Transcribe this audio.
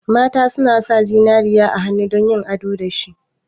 Mata suna sa zinariya a hannu dan yin ado dashi.